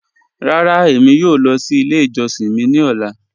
Rárá, èmi yòò lọ sí ilẹ̀ ìjọ̀ṣin mi ni ọ̀lá.